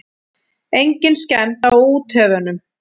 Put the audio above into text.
Engin skemmd á úthöfunum.